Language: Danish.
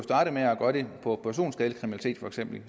være på for eksempel